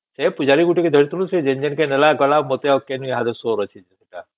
ସେ ପୂଜାରୀ ଗୋଟେ କୁ ଧରିଥିଲୁ ସେ ଯେନ ଯେନ ନେଲା ଗଲା ମତେ ଆଉ କେଣକେ ସୋର ଅଛି